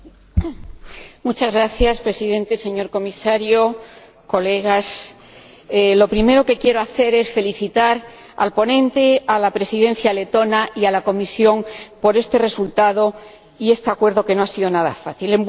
Señor Presidente señor Comisario, Señorías, lo primero que quiero hacer es felicitar al ponente, a la Presidencia letona y a la Comisión por este resultado y este acuerdo que no ha sido nada fácil.